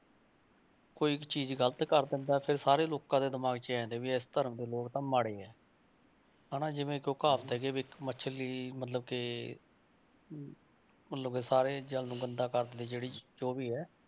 ਕੋਈ ਇੱਕ ਚੀਜ਼ ਗ਼ਲਤ ਕਰ ਦਿੰਦਾ ਹੈ ਤੇ ਸਾਰੇ ਲੋਕਾਂ ਦੇ ਦਿਮਾਗ 'ਚ ਇਹ ਆ ਜਾਂਦਾ ਵੀ ਇਸ ਧਰਮ ਦੇ ਲੋਕ ਤਾਂ ਮਾੜੇ ਹੈ ਹਨਾ ਜਿਵੇਂ ਕੋਈ ਕਹਾਵਤ ਹੈ ਵੀ ਇੱਕ ਮਛਲੀ ਮਤਲਬ ਕਿ ਮਤਲਬ ਕਿ ਸਾਰੇ ਜਲ ਨੂੰ ਗੰਦਾ ਕਰ ਦਿੰਦੀ ਹੈ ਜਿਹੜੀ ਜੋ ਵੀ ਹੈ।